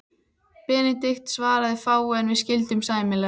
Benedikt svaraði fáu, en við skildum sæmilega.